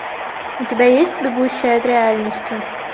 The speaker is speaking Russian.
у тебя есть бегущая от реальности